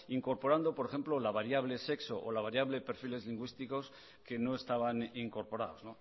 incorporando por ejemplo la variable sexo o la variable perfiles lingüísticos que no estaban incorporados